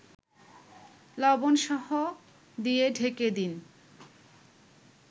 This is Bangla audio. লবণসহ দিয়ে ঢেকে দিন